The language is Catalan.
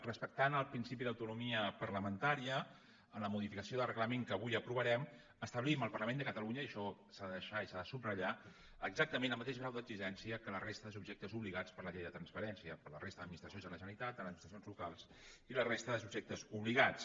respectant el principi d’autonomia parlamentària amb la modificació del reglament que avui aprovarem establim al parlament de catalunya i això s’ha de deixar i s’ha de subratllar exactament el mateix grau d’exigència que a la resta de subjectes obligats per la llei de transparència per a la resta d’administracions de la generalitat les administracions locals i la resta de subjectes obligats